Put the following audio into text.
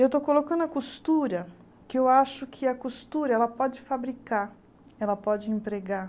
Eu estou colocando a costura, que eu acho que a costura pode fabricar, ela pode empregar.